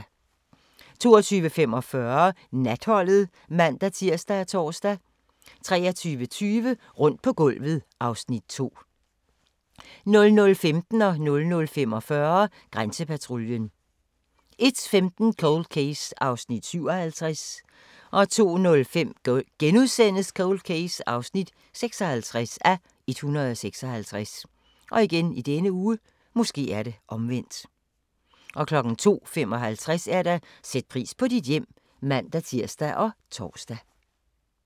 22:45: Natholdet (man-tir og tor) 23:20: Rundt på gulvet (Afs. 2) 00:15: Grænsepatruljen 00:45: Grænsepatruljen 01:15: Cold Case (57:156) 02:05: Cold Case (56:156)* 02:55: Sæt pris på dit hjem (man-tir og tor)